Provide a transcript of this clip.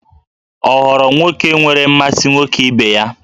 Ọ ghọrọ nwoke nwere mmasị nwoke ibe ya?